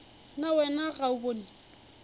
na wena ga o bone